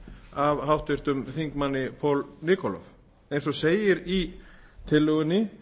af háttvirtum þingmanni paul nikolov eins og segir í tillögunni